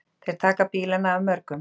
Þeir taka bílana af mörgum.